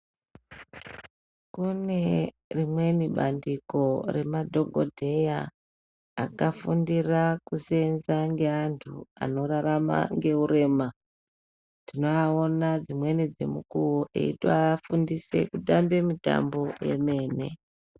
Kune rimweni bandiko remadhokodheya akafundira kusenza ngeantu anorarama nehurema tinovaona dzimweni dzemukuwo achivafundise kutamba mitambo yemene.